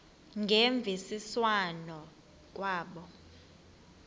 ngemvisiswano r kwabo